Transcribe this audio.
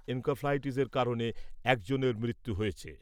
এনকেফেলাইটিসের কারণে একজনের মৃত্যু হয়েছে।